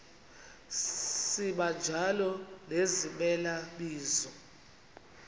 sibanjalo nezimela bizo